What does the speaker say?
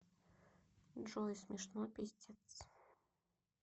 джой смешно пиздец